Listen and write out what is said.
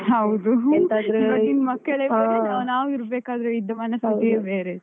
ಹೌದು. ಇವತ್ತಿನ ಮಕ್ಕಳೆ ಬೇರೆ, ಹಾ. ನಾವಿರ್ಬೇಕಾದ್ರೆ ಇದ್ದ ಮನಸ್ಥಿತಿಯೆ ಬೇರೆ.